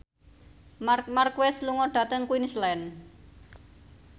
Marc Marquez lunga dhateng Queensland